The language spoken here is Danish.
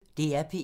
DR P1